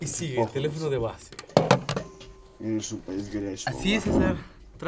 ваще похуй на самом я решил поесть горячего